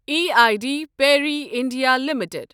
E I D Parry India limited